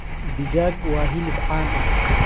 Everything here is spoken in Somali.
Digaag waa hilib caan ah.